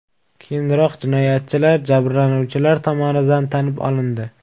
Keyinroq jinoyatchilar jabrlanuvchilar tomonidan tanib olindi.